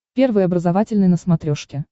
первый образовательный на смотрешке